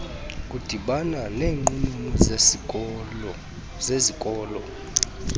kudibana neenqununu zezikolo